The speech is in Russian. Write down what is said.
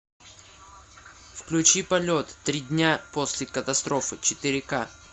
включи полет три дня после катастрофы четыре ка